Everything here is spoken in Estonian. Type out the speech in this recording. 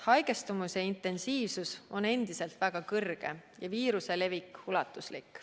Haigestumise intensiivsus on endiselt väga kõrge ja viiruse levik ulatuslik.